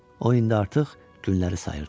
O indi artıq günləri sayırdı.